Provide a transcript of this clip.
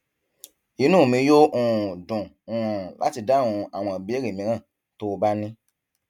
inú mi yóò um dùn um láti dáhùn àwọn ìbéèrè mìíràn tó o bá ní